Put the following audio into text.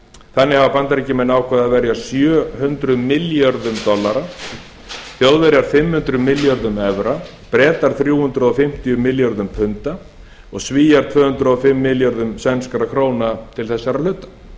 þannig hafa bandaríkjamenn ákveðið að verja sjö hundruð milljörðum dollara þjóðverjar fimm hundruð milljörðum evra bretar þrjú hundruð fimmtíu milljörðum punda og svíar tvö hundruð og fimm milljörðum sænskra króna til þessara hluta